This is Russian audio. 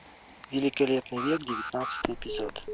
великолепный век девятнадцатый эпизод